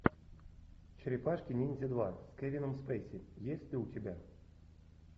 черепашки ниндзя два с кевином спейси есть ли у тебя